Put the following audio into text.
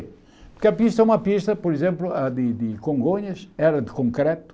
Porque a pista é uma pista, por exemplo, a de de Congonhas, era de concreto.